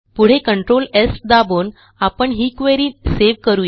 पुढे control S दाबून आपण ही क्वेरी सेव्ह करू या